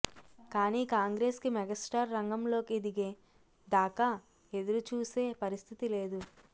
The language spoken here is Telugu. కానీ కాంగ్రెస్ కి మెగా స్టార్ రంగంలోకి దిగే దాకా ఎదురు చూసే పరిస్థితి లేదు